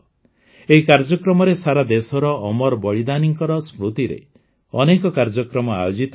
ଏହି କାର୍ଯ୍ୟକ୍ରମରେ ସାରା ଦେଶର ଅମର ବଳିଦାନୀଙ୍କର ସ୍ମୃତିରେ ଅନେକ କାର୍ଯ୍ୟକ୍ରମ ଆୟୋଜିତ ହେବ